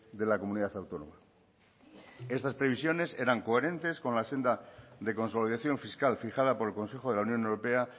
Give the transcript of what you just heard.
de la comunidad autónoma estas previsiones eran coherentes con la senda de consolidación fiscal fijada por el consejo de la unión europea